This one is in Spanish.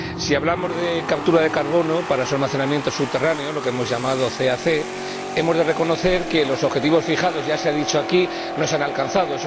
Si hablamos de captura de carbono para su almacenamiento subterráneo lo que hemos llamado CAC hemos de reconocer que los objetivos fijados ya se ha dicho aquí no se han alcanzado.